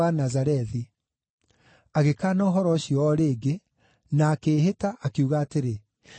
Agĩkaana ũhoro ũcio o rĩngĩ, na akĩĩhĩta, akiuga atĩrĩ, “Niĩ ndiũĩ mũndũ ũcio!”